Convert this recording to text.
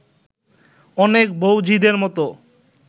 অনেক বউ-ঝিদের মতো